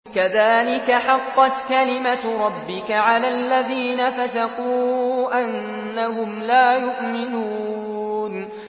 كَذَٰلِكَ حَقَّتْ كَلِمَتُ رَبِّكَ عَلَى الَّذِينَ فَسَقُوا أَنَّهُمْ لَا يُؤْمِنُونَ